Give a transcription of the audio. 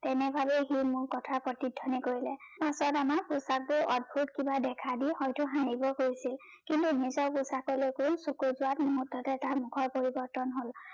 এনেভাবে সি মোৰ কথা প্ৰতিধ্বনি কৰিলে। পাছত আমাক অদ্ভুত কিবা দেখা দি হয়টো হাহিব কৈছিল কিন্তু মুঠতে তাৰ মোখৰ পৰিবৰ্তন হল